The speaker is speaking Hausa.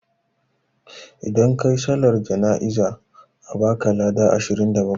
Idan kayi sallan jam'i za a baka lada ashirin da bakwai